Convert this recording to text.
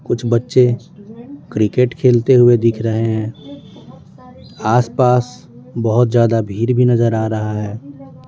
कुछ बच्चे क्रिकेट खेलते हुए दिख रहे हैं आस पास बहुत ज्यादा भीड़ भी नजर आ रहा है।